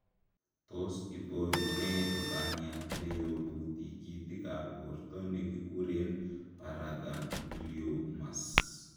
Tos iboru nee lupaniat neyobu tikitikab borto nekikuren paragangliomas ?